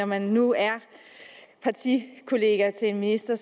man nu er partikollega til en minister